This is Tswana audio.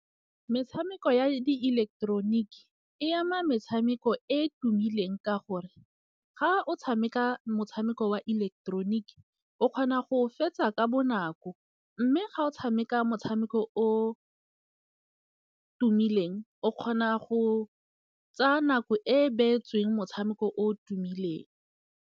Metshameko ya di ileketeroniki e ama metshameko e e tumileng. Ka gore ga o tshameka motshameko wa ileketeroniki, o kgona go fetsa ka bo nako mme ga o tshameka motshameko o tumileng o kgona go tsaya nako e e beetsweng motshameko o tumileng.